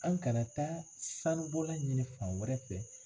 An kana taa sanubɔla ɲini fan wɛrɛ fɛ